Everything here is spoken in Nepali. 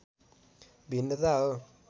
भिन्नता हो